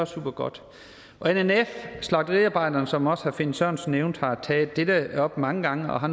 supergodt nnf slagteriarbejderne som også herre finn sørensen nævnte har taget dette op mange gange og har